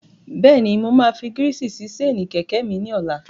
Bẹ́ẹ̀ni, mo máa fi gírísì sí séènì kẹ̀kẹ́ mi ní ọlá.